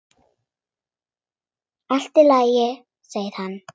Allt í lagi, segir hann.